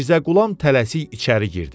Mirzə Qulam tələsik içəri girdi.